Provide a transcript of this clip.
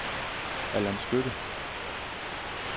Allan Skytte